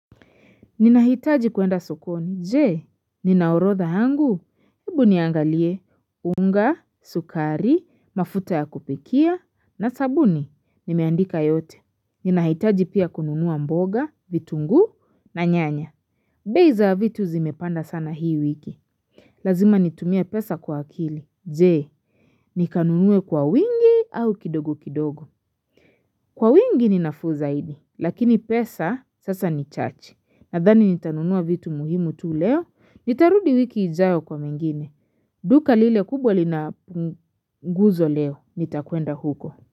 Ninahitaji kwenda sokoni. Je, nina orodha yangu? Hebu niangalie: unga, sukari, mafuta ya kupikia, na sabuni. Nimeandika yote. Ninahitaji pia kununua mboga, vitungu, na nyanya. Bei za vitu zimepanda sana hii wiki. Lazima nitumie pesa kwa akili, je, nikanunue kwa wingi au kidogo kidogo? Kwa wingi ninafu zaidi, lakini pesa sasa ni chache. Nadhani nitanunua vitu muhimu tu leo, nitarudi wiki ijayo kwa mengine. Duka lile kubwa lina guzo leo, nitaenda huko.